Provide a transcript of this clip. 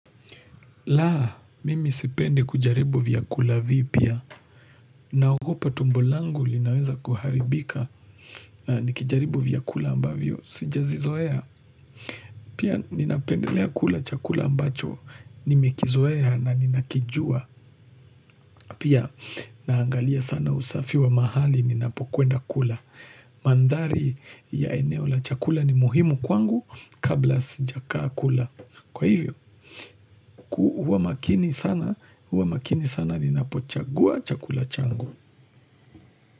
Laa, mimi sipendi kujaribu vyakula vipya naogopa tumbo langu linaweza kuharibika Nikijaribu vyakula ambavyo, sijazizoea Pia ninapendelea kula chakula ambacho Nimekizoea na ninakijua Pia naangalia sana usafi wa mahali, ninapokwenda kula Mandhari ya eneo la chakula ni muhimu kwangu kabla sijakaa kula Kwa hivyo, huwa makini sana, huwa makini sana ninapochagua chakula changu.